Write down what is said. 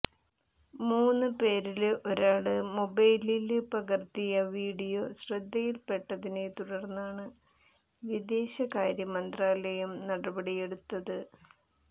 മൂന്ന് പേരില് ഒരാള് മൊബൈലില് പകര്ത്തിയ വീഡിയോ ശ്രദ്ധയില്പ്പെട്ടതിനെ തുടര്ന്നാണ് വിദേശകാര്യ മന്ത്രാലയം നടപടിയെടുത്തത്